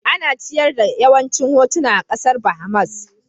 Ina ciyar da yawancin hutuna a kasar Bahamas